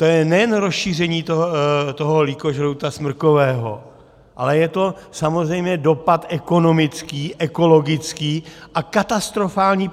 To je nejen rozšíření toho lýkožrouta smrkového, ale je to samozřejmě dopad ekonomický, ekologický a katastrofální